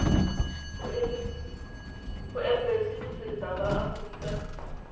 go embasi botseta ba aforika